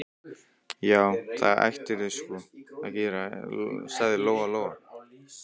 Já, það ættirðu sko að gera, sagði Lóa Lóa.